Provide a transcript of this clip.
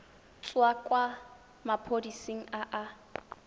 tswa kwa maphodiseng a a